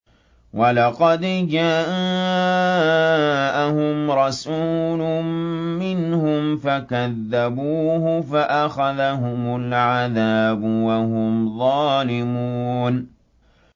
وَلَقَدْ جَاءَهُمْ رَسُولٌ مِّنْهُمْ فَكَذَّبُوهُ فَأَخَذَهُمُ الْعَذَابُ وَهُمْ ظَالِمُونَ